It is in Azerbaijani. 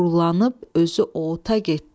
Doğrulandı, özü ota getdi.